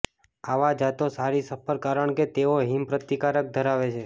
આવા જાતો સારી સફળ કારણ કે તેઓ હિમ પ્રતિકાર ધરાવે છે